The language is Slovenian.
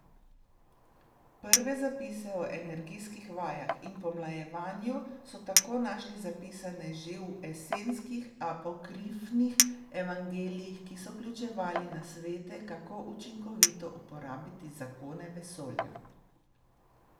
Prve zapise o energijskih vajah in pomlajevanju so tako našli zapisane že v esenskih apokrifnih evangelijih, ki so vključevali nasvete, kako učinkovito uporabiti zakone vesolja.